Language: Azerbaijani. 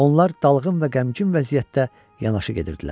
Onlar dalğın və qəmgin vəziyyətdə yanaşı gedirdilər.